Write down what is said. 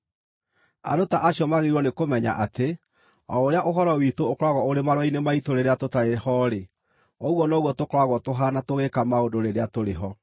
Andũ ta acio magĩrĩirwo nĩkũmenya atĩ o ũrĩa ũhoro witũ ũkoragwo ũrĩ marũa-inĩ maitũ rĩrĩa tũtarĩ ho-rĩ, ũguo noguo tũkoragwo tũhaana tũgĩĩka maũndũ rĩrĩa tũrĩ ho.